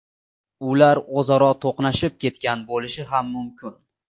Ular o‘zaro to‘qnashib ketgan bo‘lishi ham mumkin.